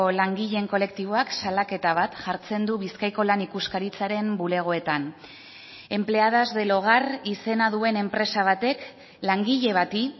langileen kolektiboak salaketa bat jartzen du bizkaiko lan ikuskaritzaren bulegoetan empleadas del hogar izena duen enpresa batek langile bati